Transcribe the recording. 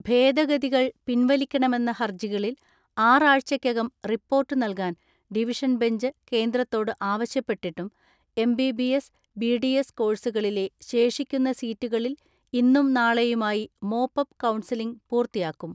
ഭേദഗതികൾ പിൻവലിക്കണമെന്ന ഹർജികളിൽ ആറാഴ്ചക്കകം റിപ്പോർട്ട് നൽകാൻ ഡിവിഷൻ ബെഞ്ച് കേന്ദ്രത്തോട് ആവശ്യപ്പെട്ടിട്ടു എം.ബി.ബി.എസ്, ബി.ഡി.എസ് കോഴ്സുകളിലെ ശേഷി ക്കുന്ന സീറ്റുകളിൽ ഇന്നും നാളെയുമായി മോപ് അപ് കൗൺസലിംഗ് പൂർത്തിയാക്കും.